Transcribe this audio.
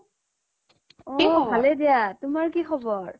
ভালেই দিয়া তোমাৰ কি খবৰ